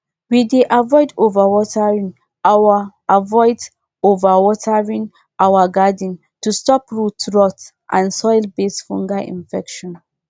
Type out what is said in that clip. we dey avoid overwatering our avoid overwatering our garden to stop root rot and soilbased fungal infections